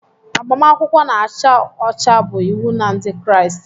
Agbamakwụkwọ na-acha ọcha bụ iwu na Ndị Kraịst.